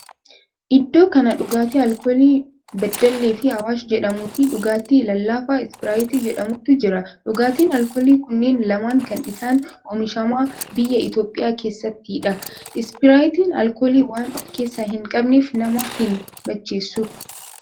Iddoo kana dhugaatii alkoolii beddelle fi awaash jedhamuu fi dhugaatii lallaafaa ispiraayitii jedhamutu jira. Dhugaatin alkoolii kunneen lamaan kan isaan oomishaman biyya Itiyoophiyaa keessattidha. Ispiraayitiin alkoolii waan of keessaa hin qabneef nama hin macheessu.